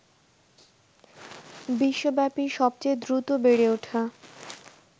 বিশ্বব্যাপী সবচেয়ে দ্রুত বেড়ে ওঠা